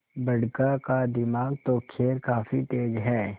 बड़का का दिमाग तो खैर काफी तेज है